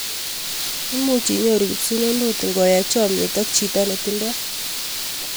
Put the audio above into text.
Imuch inyoru kipsununut ngoay chamnyet ak chito netindoi